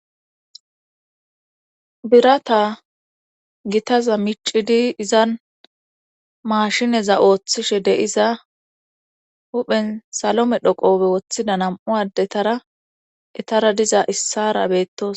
Birata gitaza micidi izan maashineza ooththishe deiza huphen salome dhoqobe woththida nam7u addetara etara diza issara beettos.